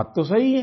बात तो सही है